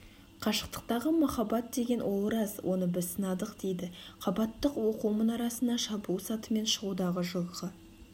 қашықтықтағы махаббат деген ол рас оны біз сынадық дейді қабаттық оқу мұнарасына шабуыл сатымен шығудағы жылғы